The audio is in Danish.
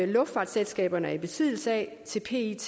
luftfartsselskaberne er i besiddelse af til pet